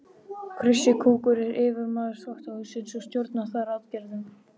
Krissi kúkur er yfirmaður þvottahússins og stjórnar þar aðgerðum.